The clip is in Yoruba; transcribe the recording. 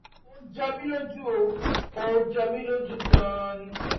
ó jọ mi lójú ó jọ mi lójú gan-an ni